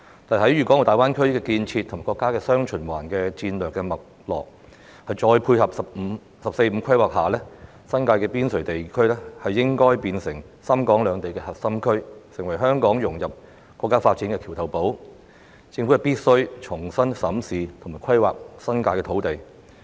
在大灣區的建設及國家的"雙循環"戰略脈絡，再配合"十四五"規劃下，新界的邊陲地區應是深港兩地的核心區，成為香港融入國家發展的橋頭堡，政府必須重新審視及規劃新界的土地。